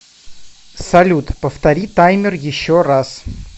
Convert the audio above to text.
салют повтори таймер еще раз